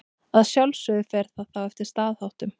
Að sjálfsögðu fer það þá eftir staðháttum.